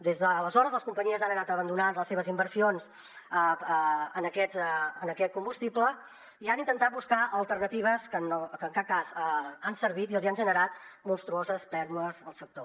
des d’aleshores les companyies han anat abandonant les seves inversions en aquest combustible i han intentat buscar alternatives que en cap cas han servit i els hi han generat monstruoses pèrdues al sector